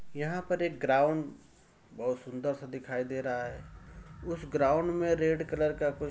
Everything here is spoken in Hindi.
यहां पर एक ग्राउंड बहुत सुंदर सा दिखाई दे रहा है। उस ग्राउंड में रेड कलर का कुछ --